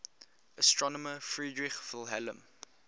astronomer friedrich wilhelm